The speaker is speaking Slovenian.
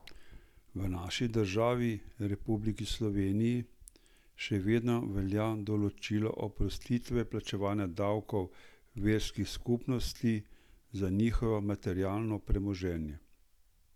V naši državi, Republiki Sloveniji, še vedno velja določilo oprostitve plačevanja davkov verskih skupnosti za njihovo materialno premoženje!